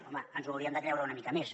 home ens ho hauríem de creure una mica més